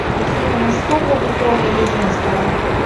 афина мужского вы пола или женского